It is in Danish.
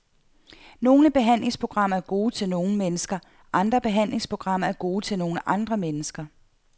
Nogle behandlingsprogrammer er gode til nogle mennesker, andre behandlingsprogrammer er gode til nogle andre mennesker.